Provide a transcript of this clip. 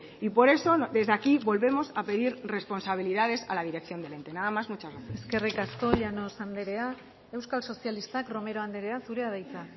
y por eso desde aquí volvemos a pedir responsabilidades a la dirección nada más muchas gracias eskerrik asko llanos andrea euskal sozialistak romero andrea zurea da hitza